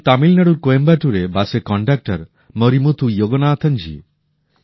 যেমন তামিলনাড়ুর কোয়েম্বাটুরে বাসের কনডাক্টার মরিমুথু যোগনাথন জী